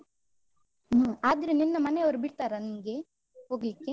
ಹ್ಮ್ ಆದ್ರೆ ನಿನ್ನ ಮನೆಯವ್ರು ಬಿಡ್ತಾರಾ ನಿಂಗೆ ಹೋಗ್ಲಿಕ್ಕೆ?